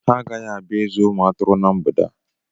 Ha agaghị abịa ịzụ umu atụrụ ná mgbede a